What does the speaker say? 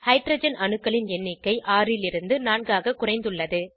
hydrogen அணுக்களின் எண்ணிக்கை 6 லிருந்து 4 ஆக குறைந்துள்ளது